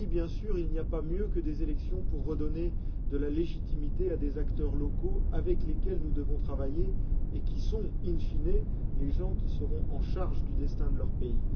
Oui, bien sûr, il n'y a pas mieux que des élections pour redonner de la légitimité à des acteurs locaux, avec lesquels nous devons travailler et qui sont, in fine les gens qui seront en charge du destin de leur pays.